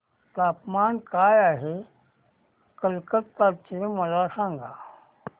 तापमान काय आहे कलकत्ता चे मला सांगा